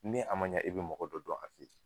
Ni' a ma ɲɛ i bi mɔgɔ dɔ dɔn a